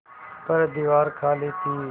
पर दीवार खाली थी